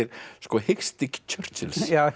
hiksti